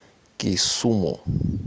кисуму